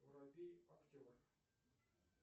воробей актер